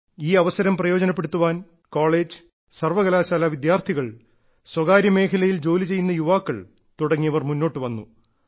ഈ അവസരം പ്രയോജനപ്പെടുത്താൻ കോളേജ് സർവ്വകലാശാലാ വിദ്യാർത്ഥികൾ സ്വകാര്യമേഖലയിൽ ജോലിചെയ്യുന്ന യുവാക്കൾ തുടങ്ങിയവർ മുന്നോട്ടുവന്നു